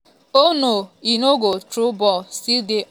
oh no e no go through ball still dey on.